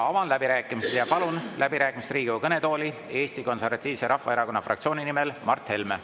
Avan läbirääkimised ja palun läbirääkimisteks Riigikogu kõnetooli Eesti Konservatiivse Rahvaerakonna fraktsiooni nimel Mart Helme.